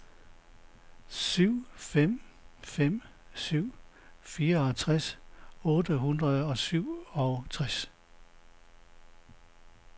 syv fem fem syv fireogtres otte hundrede og syvogtres